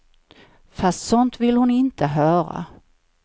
Fast sånt vill hon inte höra.